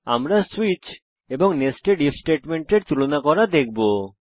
আমরা সুইচ এবং nested if স্টেটমেন্টের তুলনা করা দেখবো